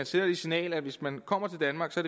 sender det signal at hvis man kommer til danmark så